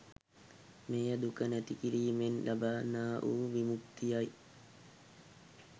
මෙය දුක නැති කිරීමෙන් ලබන්නා වු විමුක්තියයි.